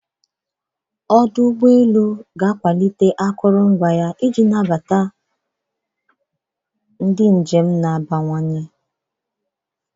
Ọdụ ụgbọ elu ga-akwalite akụrụngwa ya iji nabata ọnụ ọgụgụ ndị njem na-abawanye.